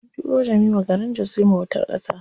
An tura Jemima garin jos yin bautar ƙasa.